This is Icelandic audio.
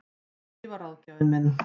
Siggi var ráðgjafinn minn.